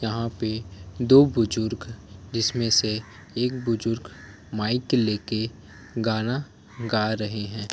यहाँ पे दो बुजुर्ग जिसमे से एक बुजुर्ग माइक लेके गाना गा रहे है।